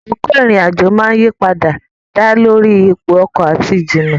Àkókò ìrìn-àjò máa ń yí padà dá lórí ipò ọkọ̀ àti ìjìnnà.